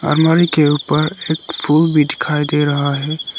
अलमारी के ऊपर एक फूल भी दिखाई दे रहा है।